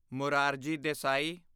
Morarji Desai